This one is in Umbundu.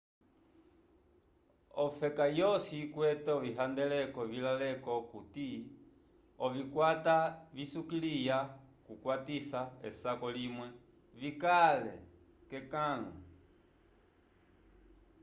ofeka yosi ikwete ovihandeleko vilaleko okuti ovikwata visukiliya kukwatisa esako limwe vikale k'ekãlu